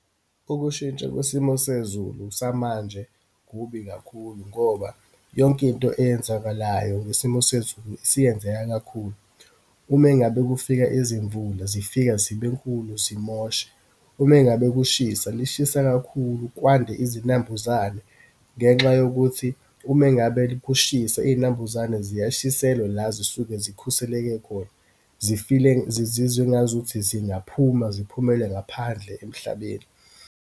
Ukushintsha kwesimo sezulu samanje kubi kakhulu ngoba yonke into eyenzakalayo ngesimo sezulu isiyenzeka kakhulu. Ume ngabe kufika izimvula, zifika zibenkulu, zimoshe. Ume ngabe kushisa, lishisa kakhulu, kwande izinambuzane ngenxa yokuthi ume ngabe kushisa, iyinambuzane ziyashiselwa la zisuke zikhuseleke khona, zi-feel-e, zizizwe engazuthi zingaphuma, ziphumele ngaphandle emhlabeni.